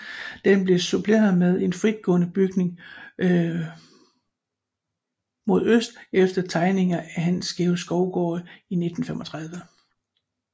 Den blev suppleret med en fritstående bygning mod øst efter tegninger af Hans Georg Skovgaard i 1935